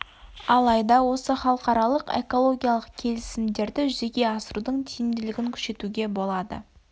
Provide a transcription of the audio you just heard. алайда осы халықаралық экологиялық келісімдерді жүзеге асырудың тиімділігін күшейтуге болады